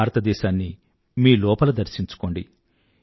భారతదేశాన్ని మీ లోపల దర్శించుకోండి